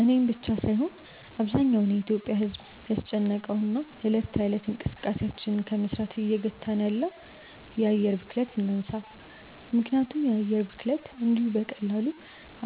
እኔን ብቻ ሳይሆን አብዛኛው የኢትዮጲያ ማህበረሰብን ያስጨነቀውን እና እለት ከእለት እንቅስቃሴያችንን ከመስራት እየገታን ያለውን የአየር ብክለትን እናንሳ። ምክንያቱም የአየር ብክለት እንዲሁ በቀላሉ